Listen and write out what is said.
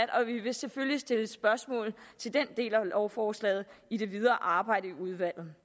og vi vil selvfølgelig stille spørgsmål til den del af lovforslaget i det videre arbejde i udvalget